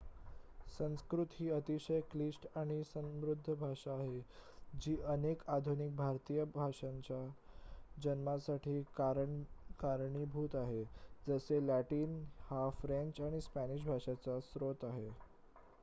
संस्कृत ही अतिशय क्लिष्ट आणि समृद्ध भाषा आहे जी अनेक आधुनिक भारतीय भाषांच्या जन्मासाठी कारणीभूत आहे जसे लॅटिन हा फ्रेंच आणि स्पॅनिश भाषांचा स्रोत आहे